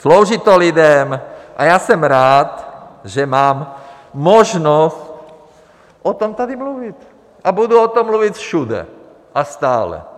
Slouží to lidem a já jsem rád, že mám možnost o tom tady mluvit, a budu o tom mluvit všude a stále.